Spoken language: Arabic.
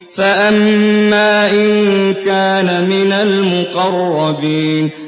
فَأَمَّا إِن كَانَ مِنَ الْمُقَرَّبِينَ